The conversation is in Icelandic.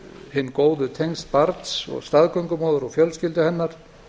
hin góðu tengsl barns og staðgöngumóður og fjölskyldu hennar